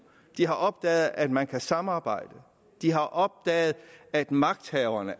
de har opdaget at man kan samarbejde de har opdaget at magthaverne